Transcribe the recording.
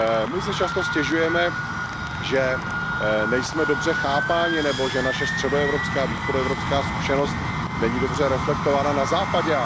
My si často stěžujeme, že nejsme dobře chápáni nebo že naše středoevropská, východoevropská zkušenost není dobře reflektována na Západě.